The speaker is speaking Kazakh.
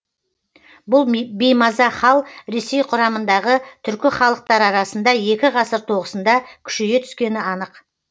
бұл беймаза хал ресей құрамындағы түркі халықтары арасында екі ғасыр тоғысында күшейе түскені анық